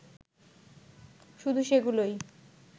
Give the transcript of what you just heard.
শুধু সেগুলোই